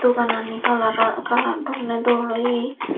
doganani kalara kalar donney dol oye.